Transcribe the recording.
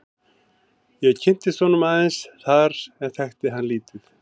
Ég kynntist honum aðeins þar en þekkti hann lítið.